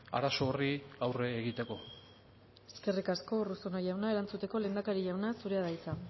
arazo horri aurre egiteko eskerrik asko urruzuno jauna erantzuteko lehendakari jauna zurea da hitza